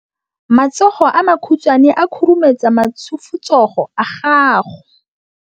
Matsogo a makhutshwane a khurumetsa masufutsogo a gago.